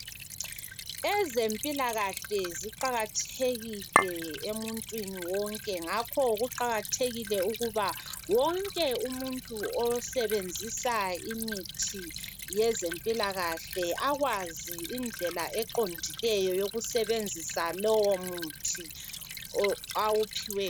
Ezempilakahle ziqakathekile emuntwini wonke ngakho kuqakathekile ukuba wonke umuntu osebenzisa imithi yezempilakahle akwazi indlela eqondileyo yokusebenzisa lowo muthi o awuphiwe.